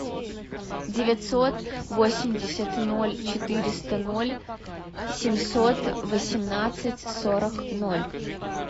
девятьсот восемьдесят ноль четыреста ноль семьсот восемнадцать сорок ноль